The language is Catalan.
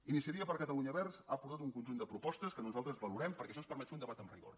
iniciativa per catalunya verds ha aportat un conjunt de propostes que nosaltres valorem perquè això ens permet fer un debat amb rigor